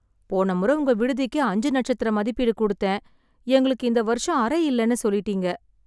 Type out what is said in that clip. போன முறை உங்க விடுதிக்கு அஞ்சு நட்சத்திர மதிப்பீடு கொடுத்தேன், எங்களுக்கு இந்த வருஷம் அறை இல்லைனு சொல்லிட்டீங்க.